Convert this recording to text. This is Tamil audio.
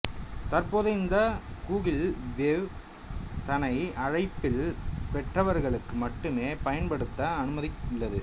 தற்போது இந்த கூகிள் வேவ் தனை அழைப்பிதழ் பெற்றவர்களுக்கு மட்டுமே பயன்படுத்த அனுமதித்துள்ளது